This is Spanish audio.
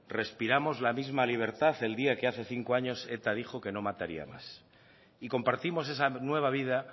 respiramos la misma libertad el día que hace cinco años eta dijo que no mataría más y compartimos esa nueva vida